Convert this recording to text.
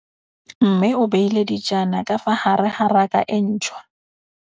Mmê o beile dijana ka fa gare ga raka e ntšha.